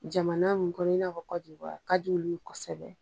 Jamana min kɔnɔ i n'a fɔ a ka di olu ye kosɛbɛ.